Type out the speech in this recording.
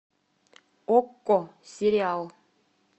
окко сериал